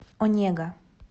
онега